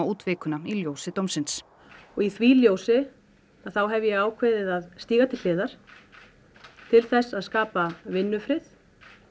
út vikuna í ljósi dómsins og í því ljósi hef ég ákveðið að stíga til hliðar til þess að skapa vinnufrið